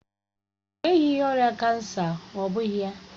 Ọ nweghị ọrịa kansa, ọ́ bụghị ya?